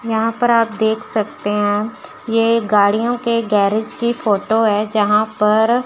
यहां पर आप देख सकते हैं ये गाड़ियों गैरेज की फोटो है जहां पर--